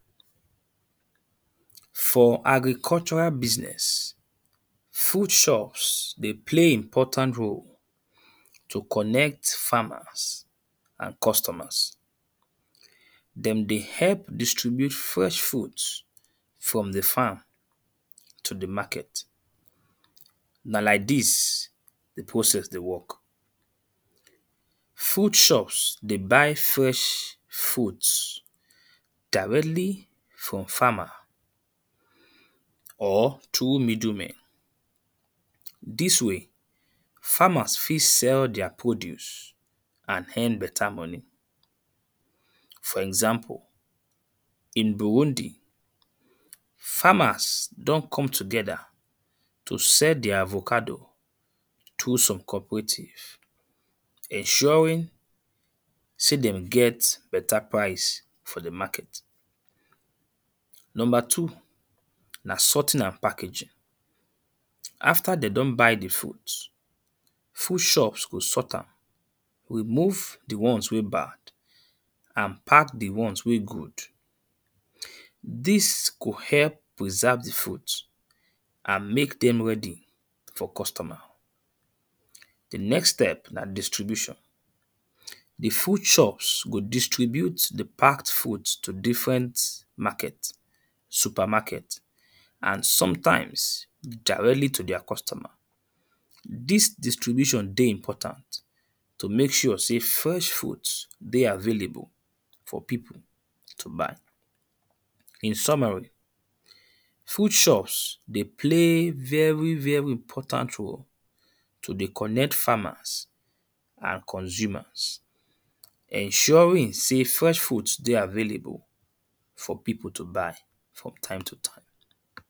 For agricultural business food source dey play important role to connect farmers and customers. Dem dey help distribute fresh fruits from the farm to the market. Na like dis the process dey work. Food source dey but fresh fruit directly from farmer or through middle men. Dis way farmers fit sell their produce and earn better money. For example, in Burundi farmers don come together to sell tgheir avocado through some cooperative. Ensuring sey dem get better price for the market. Number two, na soughting and packaging. After they don buy the fruits, food source go sought am. Remove the ones wey bad and pack the ones wey good. Ern dis could help preserve the fruit and make dem ready for customer. The next step na distribution. The food source go distribute the packed fruits to different market, supermarket and sometimes directly to their customers. Dis distribution dey important to make sure sey fresh fruits dey available for people to buy. In summary food source dey play very very important role to dey connect farmers and consumers. ensuring sey fresh fruits dey available for people to buy from time to time.